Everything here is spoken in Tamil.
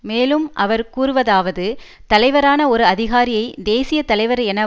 மேலும் அவர் கூறுவதாவது தலைவரான ஒரு அதிகாரியை தேசிய தலைவர் என